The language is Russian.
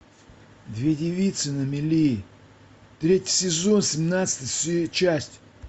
две девицы на мели третий сезон семнадцатая часть